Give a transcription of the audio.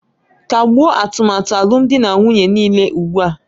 Kagbuo atụmatụ alụmdi na nwunye niile ugbu a!